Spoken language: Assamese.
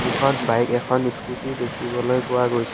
দুখন বাইক এখন স্কুটী দেখিবলৈ পোৱা গৈছে।